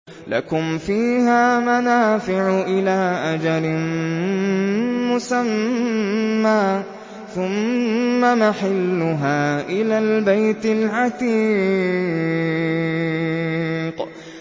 لَكُمْ فِيهَا مَنَافِعُ إِلَىٰ أَجَلٍ مُّسَمًّى ثُمَّ مَحِلُّهَا إِلَى الْبَيْتِ الْعَتِيقِ